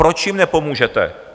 Proč jim nepomůžete?